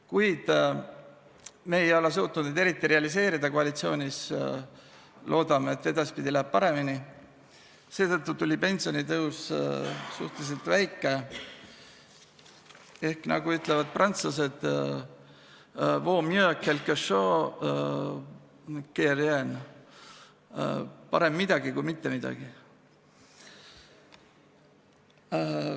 Kuid me ei ole suutnud neid eriti realiseerida koalitsioonis – loodame, et edaspidi läheb paremini –, seetõttu tuli pensionitõus suhteliselt väike ehk nagu ütlevad prantslased, vaut mieux quelque chose que rien – parem midagi kui mitte midagi.